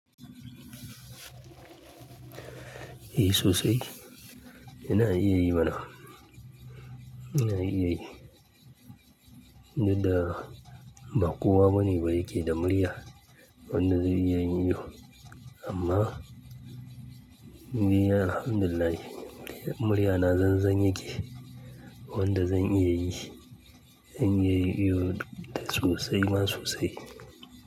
Eh sosai, ina iya yi mana. Ina iya yi. Dudda ba kowa bane ba yake da murya wanda zai iya yin iyo. Amma ni alhamdulillah murya na zanzan yake, wanda zan iya yi. Zan iya yin iyo da sosai ma sosai.